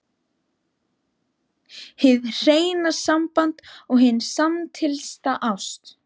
HIÐ HREINA SAMBAND OG HIN SAMSTILLTA ÁST